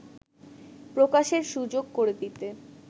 প্রকাশের সুযোগ করে দিতে